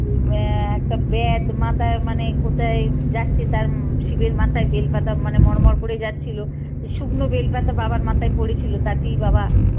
একটা বেদ মাথায় মানে কোথায় যাচ্ছে তার শিবের মাথায় বেল পাতা মানে মরমর করে যাচ্ছিল এই শুকনো বেল পাতা বাবার মাথায় পরেছিল তাতেই বাবা